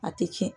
A tɛ tiɲɛ